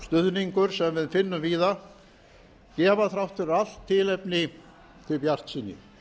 stuðningur sem við finnum víða gefa þrátt fyrir allt tilefni til bjartsýni